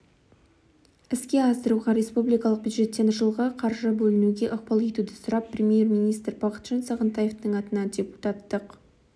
іске асыруға республикалық бюджеттен жылға қаржы бөлінуге ықпал етуді сұрап премьер-министр бақытжан сағынтаевтың атына депутаттық